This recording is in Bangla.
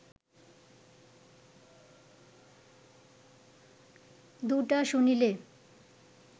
দুটা শুনিলে